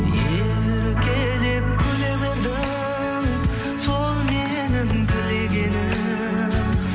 еркелеп күле бердің сол менің тілегенім